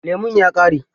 Lemun ya ƙare?